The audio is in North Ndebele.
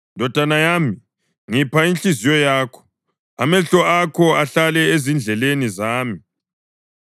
Ndodana yami, ngipha inhliziyo yakho, amehlo akho ahlale ezindleleni zami,